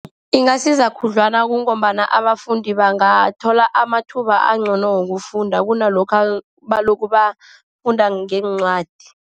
Ingasiza khudlwana, kungombana abafundi bangathola amathuba angcono wokufunda kunalokha balokhu bafunda ngeencwadi.